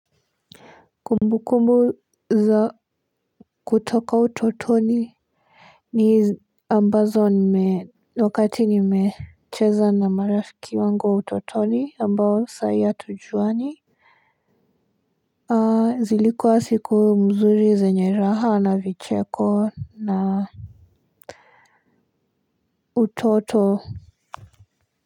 Kumbu kumbu za kutoka utotoni ni ambazo ni me wakati ni mecheza na marafiki wangu wa utotoni ambao saahi atujuani na zilikuwa siku mzuri zenye raha na vicheko na utoto.